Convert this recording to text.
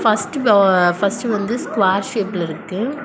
First பா first வந்து square ஷேப்ல இருக்கு.